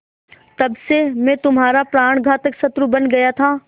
तब से मैं तुम्हारा प्राणघातक शत्रु बन गया था